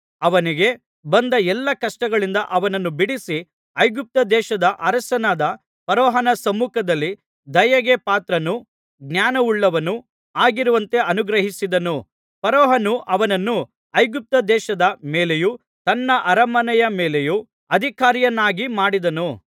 ಅವನಿಗೆ ಬಂದ ಎಲ್ಲಾ ಕಷ್ಟಗಳಿಂದ ಅವನನ್ನು ಬಿಡಿಸಿ ಐಗುಪ್ತದೇಶದ ಅರಸನಾದ ಫರೋಹನ ಸಮ್ಮುಖದಲ್ಲಿ ದಯೆಗೆ ಪಾತ್ರನೂ ಜ್ಞಾನವುಳ್ಳವನೂ ಆಗಿರುವಂತೆ ಅನುಗ್ರಹಿಸಿದನು ಫರೋಹನು ಅವನನ್ನು ಐಗುಪ್ತದೇಶದ ಮೇಲೆಯೂ ತನ್ನ ಅರಮನೆಯ ಮೇಲೆಯೂ ಅಧಿಕಾರಿಯನ್ನಾಗಿ ಮಾಡಿದನು